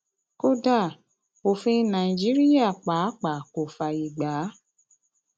kódà òfin nàìjíríà pàápàá kò fààyè gbà á